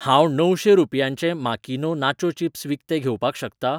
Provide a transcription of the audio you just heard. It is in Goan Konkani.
हांव णवशें रुपयांचे माकिनो नाचो चिप्स विकते घेवपाक शकतां?